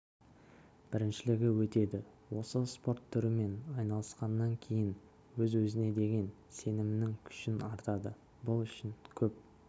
біріншілігі өтеді осы спорт түрімен айналысқаннан кейін өз-өзіңе деген сенімің күшің артады бұл үшін көп